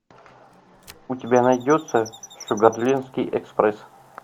у тебя найдется шугарлендский экспресс